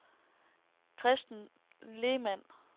Kristen Lehmann